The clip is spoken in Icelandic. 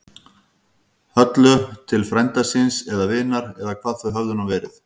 Höllu til frænda síns. eða vinar. eða hvað þau höfðu nú verið.